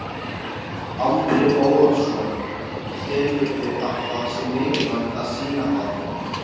Andri Ólafsson: Telurðu að það sé mikilvægt að sýna það?